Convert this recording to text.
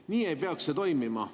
Nii ei peaks see toimuma.